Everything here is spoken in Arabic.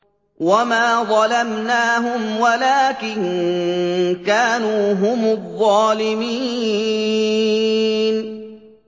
وَمَا ظَلَمْنَاهُمْ وَلَٰكِن كَانُوا هُمُ الظَّالِمِينَ